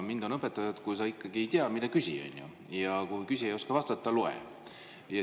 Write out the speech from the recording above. Mind on õpetatud, et kui sa ikkagi ei tea, siis mine küsi, ja kui ei osata vastata, siis loe.